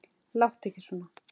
Láttu ekki svona